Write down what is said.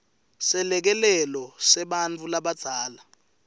selekelelo sebantfu labadzala